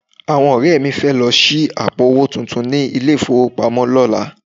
Àwọn ọ̀rẹ́ mi fẹ́ lọ ṣí àpò owó tuntun ní ilé-ìfowópamọ́ lọ́la